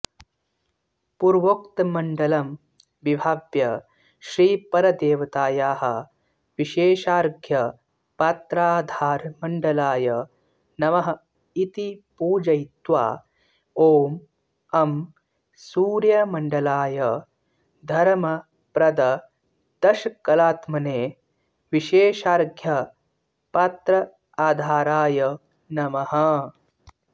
पूर्वोक्तमण्डलं विभाव्य श्रीपरदेवतायाः विशेषार्घ्यपात्राधारमण्डलाय नमः इति पूजयित्वा ॐ अं सूर्यमण्डलाय धर्मप्रददशकलात्मने विशेषार्ध्यपात्राधाराय नमः